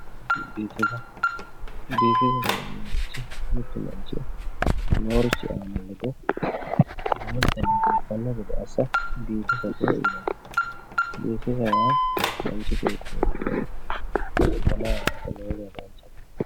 biifisa, biifisate yineemmorichi mittu manchi noorichi aana lede lexxe biifanno gede assa biifisate yinanni biifisate yaa manchi beetti zanaa yaate lowontanni danchate.